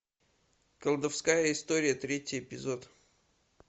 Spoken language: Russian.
колдовская история третий эпизод